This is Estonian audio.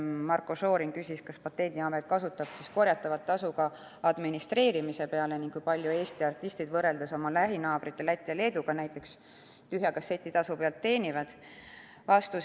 Marko Šorin küsis, kas Patendiamet kasutab korjatavat tasu ka administreerimise peale ning kui palju Eesti artistid võrreldes näiteks oma lähinaabrite Läti ja Leeduga tühja kasseti tasu pealt teenivad.